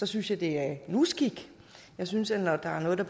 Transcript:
synes jeg det er en uskik jeg synes at når der er noget der